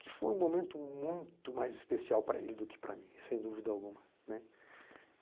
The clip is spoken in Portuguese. que foi um momento muito mais especial para ele do que para mim, sem dúvida alguma, né.